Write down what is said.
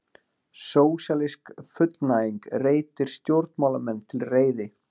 Sósíalísk fullnæging reitir stjórnmálamenn til reiði